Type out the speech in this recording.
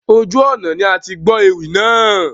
Ojú ọnà ni atigbọ́ ewì náà.